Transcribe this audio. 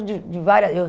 de de várias eu